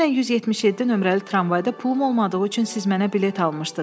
Dünən 177 nömrəli tramvayda pulum olmadığı üçün siz mənə bilet almışdız.